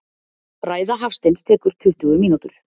Ræða Hafsteins tekur tuttugu mínútur.